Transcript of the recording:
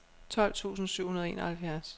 tolv tusind syv hundrede og enoghalvfjerds